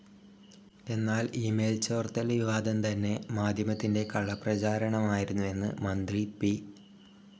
എന്നാൽ ഇമെയിൽ ചോർത്തൽ വിവാദം തന്നെ മാധ്യമത്തിൻ്റെ കള്ളപ്രചരണമായിരുന്നുവെന്ന് മന്ത്രി പി.